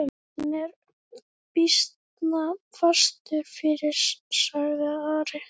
Hann er býsna fastur fyrir, sagði Ari.